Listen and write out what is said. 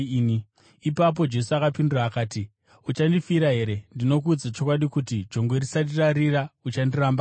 Ipapo Jesu akapindura akati, “Uchandifira here? Ndinokuudza chokwadi kuti, jongwe risati rarira, uchandiramba katatu!”